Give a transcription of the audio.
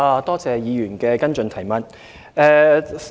多謝議員的補充質詢。